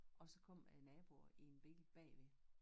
Og så kom æ naboer i en bil bagved